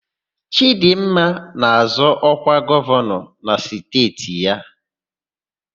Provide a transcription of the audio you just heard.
Chịdịmma na-azọ ọkwa gọvanọ nke steeti ya.